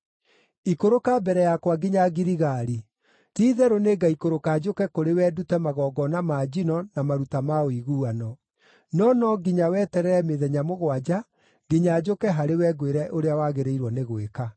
“Ikũrũka mbere yakwa nginya Giligali. Ti-itherũ nĩngaikũrũka njũke kũrĩ we ndute magongona ma njino na maruta ma ũiguano. No no nginya weterere mĩthenya mũgwanja nginya njũke harĩ we ngwĩre ũrĩa wagĩrĩirwo nĩ gwĩka.”